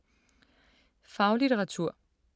Faglitteratur